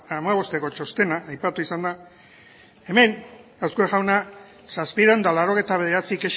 hamabosteko txostena aipatu izan da hemen azkue jauna zazpiehun eta laurogeita bederatzi